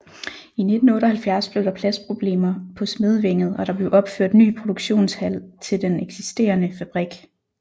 I 1978 blev der pladsproblemer på Smedevænget og der blev opført ny produktionshal til den eksisterende fabrik